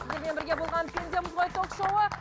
сіздермен бірге болған пендеміз ғой ток шоуы